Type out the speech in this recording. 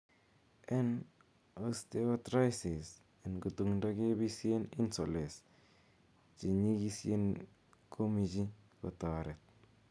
en Osteoathritis en kutundo, kepisyen insoles che nyigisyenkomichi kotoret